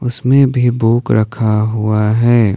उसमें भी बुक रखा हुआ है।